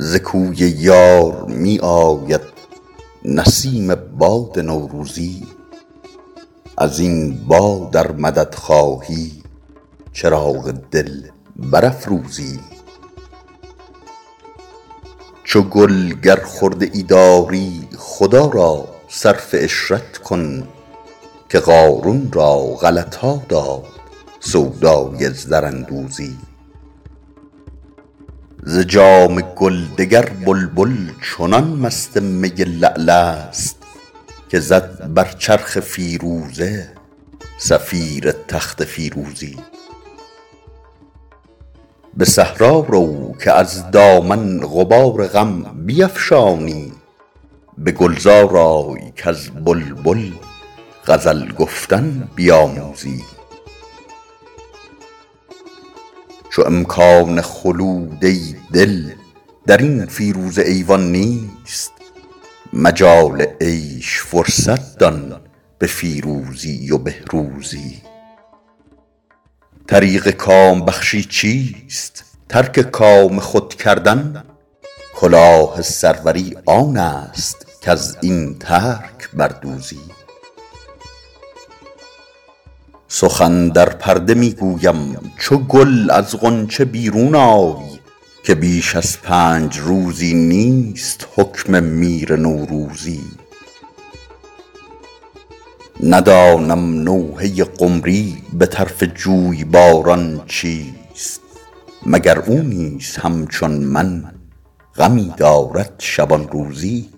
ز کوی یار می آید نسیم باد نوروزی از این باد ار مدد خواهی چراغ دل برافروزی چو گل گر خرده ای داری خدا را صرف عشرت کن که قارون را غلط ها داد سودای زراندوزی ز جام گل دگر بلبل چنان مست می لعل است که زد بر چرخ فیروزه صفیر تخت فیروزی به صحرا رو که از دامن غبار غم بیفشانی به گلزار آی کز بلبل غزل گفتن بیاموزی چو امکان خلود ای دل در این فیروزه ایوان نیست مجال عیش فرصت دان به فیروزی و بهروزی طریق کام بخشی چیست ترک کام خود کردن کلاه سروری آن است کز این ترک بر دوزی سخن در پرده می گویم چو گل از غنچه بیرون آی که بیش از پنج روزی نیست حکم میر نوروزی ندانم نوحه قمری به طرف جویباران چیست مگر او نیز همچون من غمی دارد شبان روزی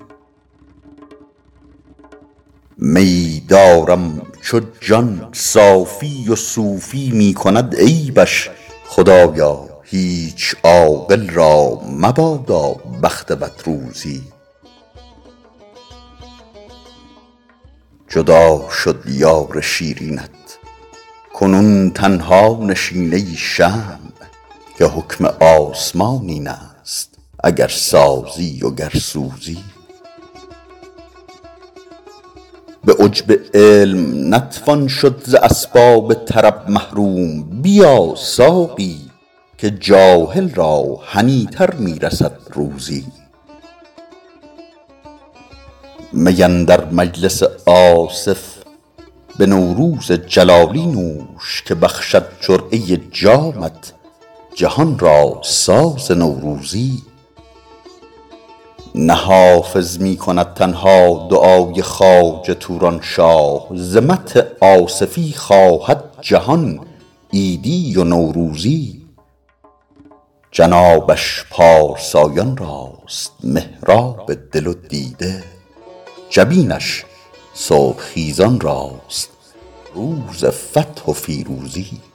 میی دارم چو جان صافی و صوفی می کند عیبش خدایا هیچ عاقل را مبادا بخت بد روزی جدا شد یار شیرینت کنون تنها نشین ای شمع که حکم آسمان این است اگر سازی و گر سوزی به عجب علم نتوان شد ز اسباب طرب محروم بیا ساقی که جاهل را هنی تر می رسد روزی می اندر مجلس آصف به نوروز جلالی نوش که بخشد جرعه جامت جهان را ساز نوروزی نه حافظ می کند تنها دعای خواجه توران شاه ز مدح آصفی خواهد جهان عیدی و نوروزی جنابش پارسایان راست محراب دل و دیده جبینش صبح خیزان راست روز فتح و فیروزی